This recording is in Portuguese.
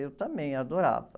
Eu também adorava.